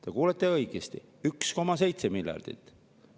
Te kuulsite õigesti: 1,7 miljardit.